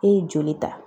E ye joli ta